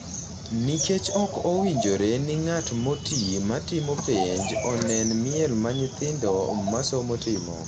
nikech ok owinjore ni ng’at moti ma timo penj onen miel ma nyithindo ma somo timo,